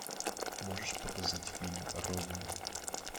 можешь показать фильм родина